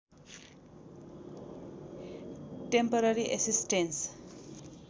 temporary assistance